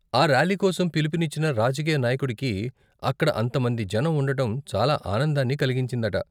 ఆ ర్యాలీ కోసం పిలుపునిచ్చిన రాజకీయ నాయకుడికి అక్కడ అంత మంది జనం ఉండటం చాలా ఆనందాన్ని కలిగించిందట.